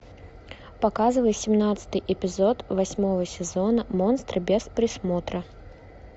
показывай семнадцатый эпизод восьмого сезона монстры без присмотра